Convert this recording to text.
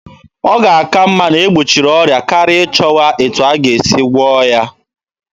Ọ ga-aka mma na-egbochiri ọrịa karịa ịchọwa etu a ga-esi gwụọ ya.